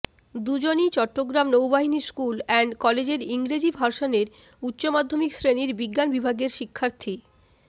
দুজনই চট্টগ্রাম নৌবাহিনী school and কলেজের ইংরেজি ভার্সনের উচ্চমাধ্যমিক শ্রেণির বিজ্ঞান বিভাগের শিক্ষার্থী